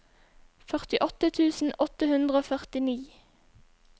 førtiåtte tusen åtte hundre og førtini